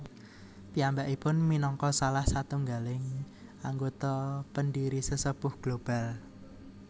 Piyambakipun minangka salah satunggaling anggota pendiri Sesepuh Global